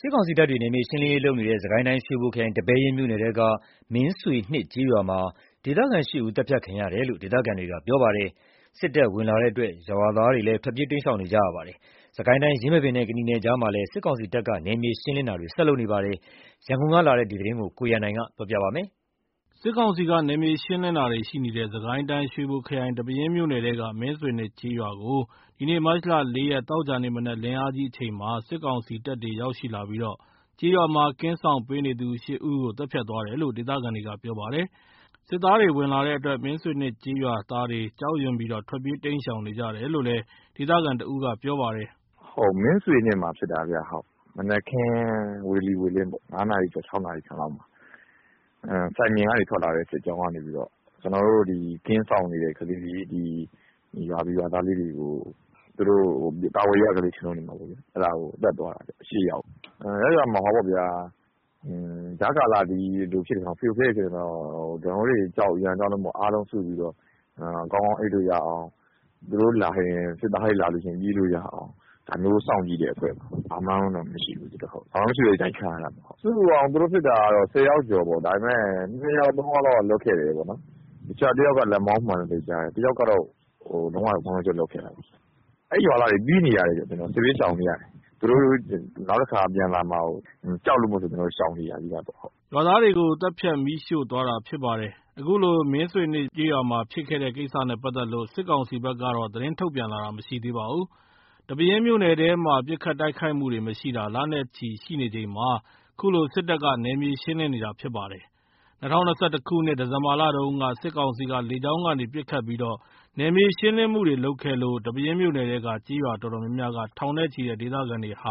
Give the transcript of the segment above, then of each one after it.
စစ်ကောင်စီတပ်တွေ နယ်မြေရှင်းနေတဲ့ စစ်ကိုင်းတိုင်း ရွှေဘိုခရိုင် ဒီပဲယင်းမြို့ နယ်၊ မင်းဆွေနှစ်ကျေးရွာမှာ ဒေသခံ ၈ ဦး သတ်ဖြတ်ခံရတယ်လို့ ဒေသခံတွေက ပြောပါတယ်။ စစ်တပ်တွေ ဝင်လာတဲ့အတွက် ရွာသားတွေလည်း ထွက်ပြေးတိမ်းရှောင်နေကြရပါတယ်။ စစ်ကိုင်းတိုင်း ယင်းမာပင်နဲ့ ကနီနယ်ကြားမှာလည်း စစ်ကောင်စီတပ်က ဆက်တိုက် နယ်မြေရှင်းနေပါတယ်။ ရန်ကုန်ကလာတဲ့သတင်းကို ကိုရန်နိုင်က တင်ပြပေးထားပါတယ်။ စစ်ကောင်စီက နယ်မြေရှင်းလင်းတာတွေရှိနေတဲ့ စစ်ကိုင်းတိုင်း ရွှေဘိုခရိုင် ဒီပဲယင်းမြို့နယ်ထဲက မင်းဆွေနှစ်ကျေးရွာကို ဒီနေ့ မတ်လ ၄ ရက် သောကြာနေ့ မနက် လင်းအားကြီးအချိန်မှာ စစ်ကောင်စီတပ်တွေ ရောက်လာပြီး ကင်းစောင့်ပေးနေသူ ၈ ဦးကို သတ်ဖြတ်သွားတယ်လို့ ဒေသခံတွေက ပြောပါတယ်။ စစ်သားတွေ ဝင် လာတဲ့အတွက် မင်းဆွေနှစ်ကျေးရွာသားတွေ ကြောက်ရွံ့ပြီး ထွက်ပြေး တိမ်းရှောင်နေကြရတယ်လို့ ဒေသခံတဦးက ပြောပါတယ်။ “မင်းဆွေနှစ်မှာဖြစ်တာ။ မနက်ခင်း ဝေလီဝေလင်း ၅ နာရီကျော် ၆ နာရီလောက် မှာ စိုင်ပြင်ကထွက်လာတဲ့ စစ်ကြောင်းကနေပြီးတော့ ကင်းစောင့်နေတဲ့ကလေးတွေ ရွာသူရွာသားလေးတွေကို သူတို့က ကာကွယ်ရေးက ကလေးတွေလို့ထင်မှာပေါ့ဗျာ။ အဲ့ဒါ သတ်သွားတာဗျ။ ၈ ယောက် ။ ရပ်ရွာမှာ ကြားကာလ ဒီလိုဖရိုဖရဲတွေဖြစ်နေတော့ သူတို့ရန်ကြောက်လို့ အားလုံးစုပြီးတော့ ကောင်းကောင်း အိပ်လို့ ရအောင် သူတို့လာရင် စစ်သားတွေလာလို့ရှိရင် ပြေးလို့ရအောင် ဒါမျိုးစောင့်ကြည့်တဲ့အဖွဲ့ပါ။ ဘာမှတော့မရှိဘူး။ ဘာမှမရှိဘဲ ဒီတိုင်းခံရတာပေါ့။ စုစုပေါင်း သူတို့ ဖြစ်တာက ၁၀ ယောက်ကျော်ပေါ့။ ဒါပေမယ့် ၂ ယောက် ၃ ယောက်လောက် လွတ်ခဲ့တယ်ပေါ့နော်။ တယောက်ကတော့ လက်မောင်းမှန်တယ်။ တယောက် ကတော့ ကွင်းလုံးကျွတ်လွတ်ခဲ့တာပေါ့။ အဲ့ရွာသားတွေ ပြေးနေရတယ်။ စစ်ဘေး ရှောင်နေရတယ်။ သူတို့နောက်တခါ ပြန်လာမှာစိုးလို့ ကြောက်လို့ရှောင်နေရတယ်။” ရွာသားတွေကို သတ်ဖြတ် မီးရှို့သွားတာဖြစ်ပါတယ်။ အခုလို မင်းဆွေနှစ်ရွာမှာဖြစ်တဲ့ ကိစ္စနဲ့ပတ်သက်လို့ စစ်ကောင်စီဘက်ကတော့ သတင်းထုတ်ပြန်လာတာ မရှိသေးပါဘူး။ ဒီပဲယင်းမြို့နယ်ထဲမှာ ပစ်ခတ်တိုက်ခိုက်မှုတွေမရှိတာ လနဲ့ချီရှိနေချိန်မှာ ခုလို စစ်တပ်က နယ်မြေရှင်းလင်းနေတာဖြစ်ပါတယ်။ ၂၀၂၁ ခုနှစ် ဒီဇင် ဘာ တုန်းက စစ်ကောင်စီက လေကြောင်းကနေ ပစ်ခတ်ပြီး နယ်မြေရှင်းလင်းမှုတွေ လုပ်ခဲ့လို့ ဒီပဲယင်းမြို့နယ်ထဲက ကျေးရွာတော်တော်များက ထောင်နဲ့ချီတဲ့ ဒေသခံတွေဟာ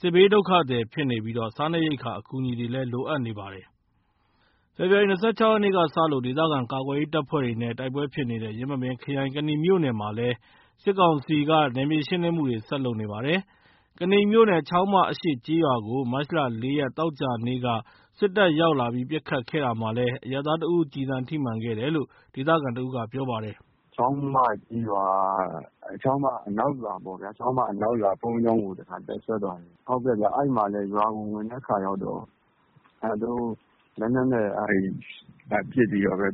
စစ်ဘေးဒုက္ခသည်ဖြစ်နေပြီး စားနပ်ရိက္ခာ အကူအညီတွေလည်း လိုအပ်နေပါတယ်။ ဖေဖော်ဝါရီ ၂၆ ရက်ကစလို့ ဒေသခံကာကွယ်ရေး တပ်ဖွဲ့တွေနဲ့ တိုက်ပွဲဖြစ်ပွားနေတဲ့ ယင်းမာပင်ခရိုင် ကနီမြို့နယ်မှာလည်း စစ်ကောင်စီက နယ်မြေရှင်းလင်းမှုတွေ ဆက်လုပ်နေပါတယ်။ ကနီမြို့နယ် ချောင်းမ အရှေ့ကျေးရွာကိုလည်း မတ်လ ၄ ရက် သောကြာနေ့က စစ်တပ်ဝင်ရောက်လာပြီး ပစ်ခတ်ခဲ့တာမှာလည်း အရပ်သားတဦး ကျည်ဆံထိမှန်ခဲ့တယ်လို့ ဒေသခံတဦးက ပြောပါတယ်။ “ချောင်းမကျေးရွာ ချောင်းမ အနောက်ရွာပေါ့ဗျာ။ ချောင်းမအနောက်ရွာ ဘုန်းကြီးကျောင်းမှာ တပ်စွဲထားတယ်။ အဲ့ဒီမှာသူတို့ ရွာကို ဝင်တဲ့အခါကျတော့ လက်နက်တွေနဲ့ပစ်ပြီးတော့ပဲ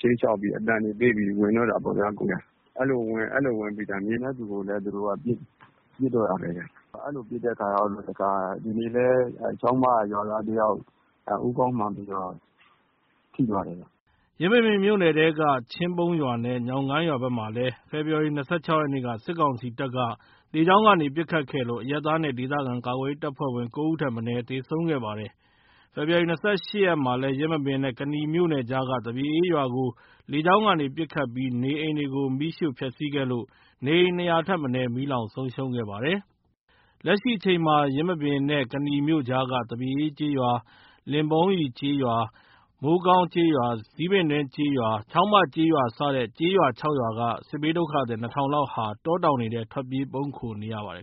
ခြိမ်းခြောက်အသံတွေပေးပြီး ဝင်တော့တာပေါ့ဗျာ။ အဲ့လို ဝင်ပြီး မြင်တဲ့သူကိုပစ်တော့တာပဲ။ အဲ့လိုပစ်တဲ့အခါကျတော့ ဒီနေ့လည်း ချောင်းမရွာသားတယောက် ဦးခေါင်းမှန်ပြီးထိသွားတယ်။” ယင်းမာပင်မြို့နယ်ထဲက ချင်းပုန်းရွာနဲ့ ညောင်ကိုင်းရွာဘက်မှာလည်း ဖေဖော်ဝါရီ ၂၆ ရက်နေ့က စစ်ကောင်စီတပ်က လေကြောင်းကနေ ပစ်ခတ်ခဲ့လို့ အရပ်သားနဲ့ ဒေသခံကာကွယ်ရေး တပ်ဖွဲ့ဝင် ၉ ဦးထက် မနည်း သေဆုံးခဲ့ပါတယ်။ ဖေဖော်ဝါရီ ၂၈ ရက်မှာလည်း ယင်းမာပင်နဲ့ ကနီမြို့နယ်ကြားက သပြေအေးရွာကို လေကြောင်းကနေ ပစ်ခတ်ပြီး နေအိမ်တွေကို မီးရှို့ဖျက်ဆီးခဲ့လို့ နေအိမ် ၂၀၀ ထက် မနည်း မီးလောင်ဆုံးရှုံးခဲ့ပါတယ်။ လက်ရှိအချိန်မှာ ယင်းမာပင်နဲ့ ကနီမြို့ကြားက သပြေအေးကျေးရွာ၊ လင်ပုန်းရည်ကျေးရွာ၊ မိုးကောင်းကျေးရွာ၊ ဇီးပင်တွင်းကျေးရွာ၊ ချောင်းမကျေးရွာ စတဲ့ ကျေးရွာ ၆ ရွာက စစ်ဘေးဒုက္ခသည် ၂ ထောင်လောက်ဟာ တောတောင်တွေထဲ ထွက်ပြေး ပုန်းခိုနေကြရပါတယ်